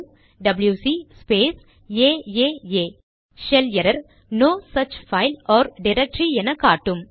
WC space aaa shell error no such file or directory என காட்டும்